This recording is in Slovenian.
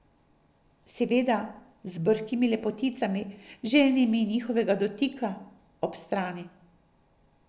Seveda z brhkimi lepoticami, željnimi njihovega dotika, ob strani.